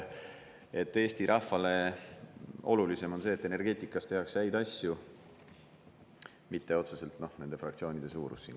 Eesti rahvale on ehk olulisem see, et energeetikas tehakse häid asju, mitte otseselt siinsete fraktsioonide suurus.